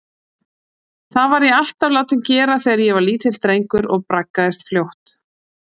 Það var ég alltaf látinn gera þegar ég var lítill drengur og braggaðist fljótt.